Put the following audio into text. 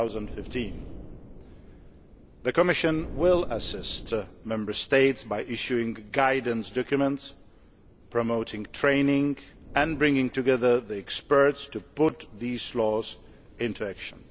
2015. The Commission will assist the Member States by issuing guidance documents, promoting training and bringing together the experts to put these laws into action.